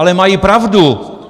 Ale mají pravdu.